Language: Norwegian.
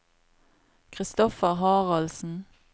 Kristoffer Haraldsen